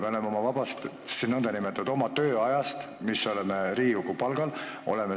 Me oleme seal omast vabast, või tähendab, oma tööajast, mille eest meile Riigikogus palka makstakse.